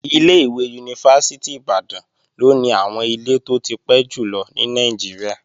Ilé-ìwé Yunifásítì Ìbàdàn ló ní àwọn ilé tó ti pẹ́ jùlọ ní Nàìjíríà